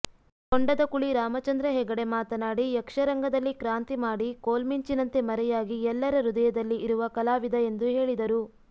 ಕೊಂಡದಕುಳಿ ರಾಮಚಂದ್ರ ಹೆಗಡೆ ಮಾತನಾಡಿ ಯಕ್ಷರಂಗದಲ್ಲಿ ಕ್ರಾಂತಿ ಮಾಡಿ ಕೋಲ್ಮಿಂಚಿನಂತೆ ಮರೆಯಾಗಿ ಎಲ್ಲರ ಹೃದಯದಲ್ಲಿ ಇರುವ ಕಲಾವಿದ ಎಂದು ಹೇಳಿದರು